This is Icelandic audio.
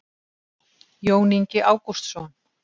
jón ingi ágústsson